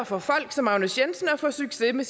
for folk som agnes jensen at få succes med